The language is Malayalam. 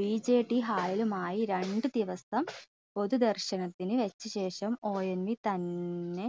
VJTHall ലുമായി രണ്ട് ദിവസം പൊതുദർശനത്തിന് വെച്ച ശേഷം ONV തന്നെ